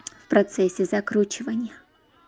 в процессе закручивания